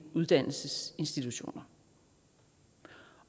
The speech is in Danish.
uddannelsesinstitutioner